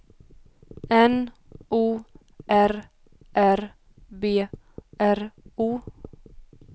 N O R R B R O